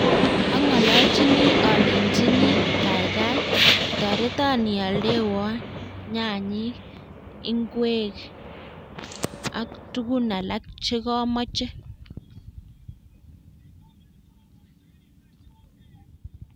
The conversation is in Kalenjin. Angololchini alenyini kaikai toreton ioldewon nyanyik, ingwek ak tugun alak chekomoche